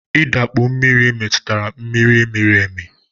I dakpu mmiri metụtara mmiri miri emi